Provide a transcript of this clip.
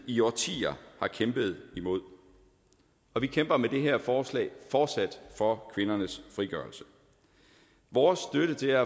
i årtier har kæmpet imod og vi kæmper med det her forslag fortsat for kvindernes frigørelse vores støtte til